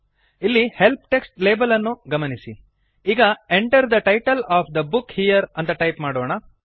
ಇಲ್ಲಿ help text label ಅನ್ನು ಗಮನಿಸಿ ಈಗ Enter the title of the book here ಅಂತ ಟೈಪ್ ಮಾಡೋಣ